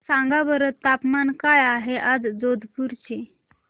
सांगा बरं तापमान काय आहे आज जोधपुर चे